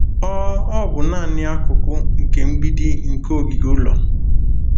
Ọ Ọ bụ naanị akụkụ nke mgbidi nke ogige ụlọ.